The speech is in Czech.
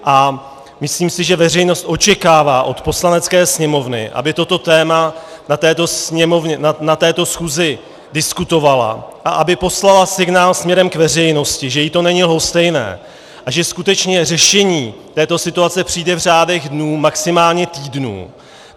A myslím si, že veřejnost očekává od Poslanecké sněmovny, aby toto téma na této schůzi diskutovala a aby poslala signál směrem k veřejnosti, že jí to není lhostejné a že skutečně řešení této situace přijde v řádech dnů, maximálně týdnů.